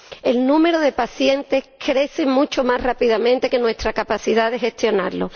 El número de pacientes crece mucho más rápidamente que nuestra capacidad de gestionarla.